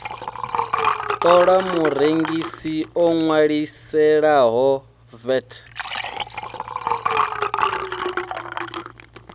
ṱola murengisi o ṅwaliselaho vat